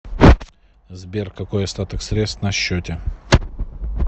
сбер какой остаток средств на счете